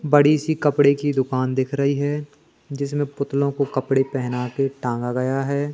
बड़ी सी कपड़े की दुकान दिख रही है जिसमें पुतलों को कपड़े पहना के टांगा गया है।